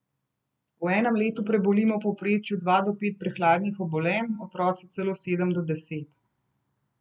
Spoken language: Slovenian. V enem letu prebolimo v povprečju dva do pet prehladnih obolenj, otroci celo sedem do deset.